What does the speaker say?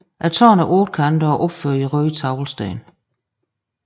Tårnet er ottekantet og opført i røde teglsten